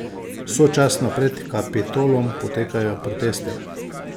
Sočasno pred Kapitolom potekajo protesti.